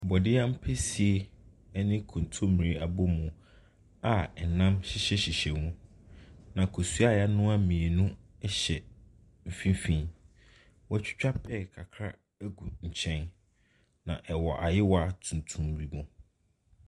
Borɔdeɛ apɛsie ne kontomire abomu a ɛnam hyehyɛhyehyɛ mu. Na nkosua a yɛanoa mmienu hyehyɛ mfimfini. Wɔatwitwa pɛɛ kakra gu nkyɛn. na ɛwɔ ayowa tuntum bi mu.